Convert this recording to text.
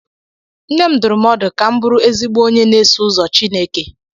Nne m dụrụ m ọdụ ka m bụrụ ezigbo onye na-eso ụzọ Chineke.